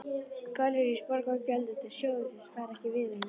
Gallerís Borgar á gjöldum til sjóðsins væru ekki viðunandi.